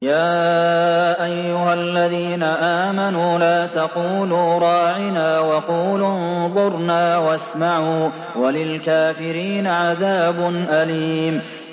يَا أَيُّهَا الَّذِينَ آمَنُوا لَا تَقُولُوا رَاعِنَا وَقُولُوا انظُرْنَا وَاسْمَعُوا ۗ وَلِلْكَافِرِينَ عَذَابٌ أَلِيمٌ